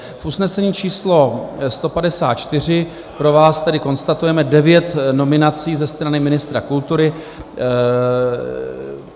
V usnesení číslo 154 pro vás tedy konstatujeme devět nominací ze strany ministra kultury.